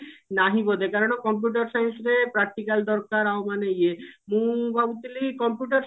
ନାହିଁ ବୋଧେ କାରଣ computer science ରେ practical ଦରକାର ଆଉ ମାନେ ଇଏ ମୁଁ ଭାବୁଥିଲି computer